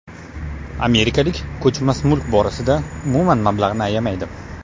Amerikalik ko‘chmas mulk borasida umuman mablag‘ni ayamaydi.